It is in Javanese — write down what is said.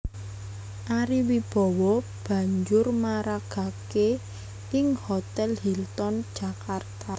Ari Wibowo banjur maragaké ing Hotèl Hilton Jakarta